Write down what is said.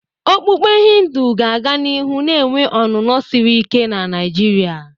Okpukpe Hindu ga-aga n'ihu na-enwe ọnụnọ siri ike na Nigeria.